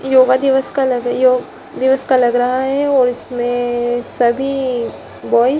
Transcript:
ये योग दिवस का लग योग दिवस का लग रहा है इसमें सभी बॉय्ज --